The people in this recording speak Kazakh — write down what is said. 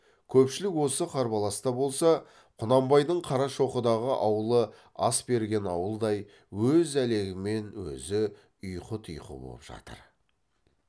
көпшілік осы қарбаласта болса құнанбайдың қарашоқыдағы аулы ас берген ауылдай өз әлегімен өзі ұйқы тұйқы боп жатыр